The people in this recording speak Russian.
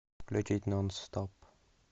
включить нон стоп